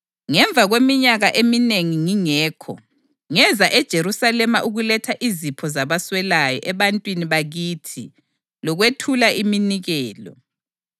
Ngemva kweminyaka eminengi ngingekho, ngeza eJerusalema ukuletha izipho zabaswelayo ebantwini bakithi lokwethula iminikelo.